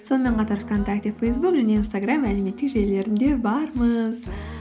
сонымен қатар вконтакте фейсбук және инстаграм әлеуметтік желілерінде бармыз